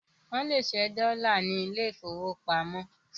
Wọ́n lè ṣẹ́ dọ́là ní ilé ìfowópamọ́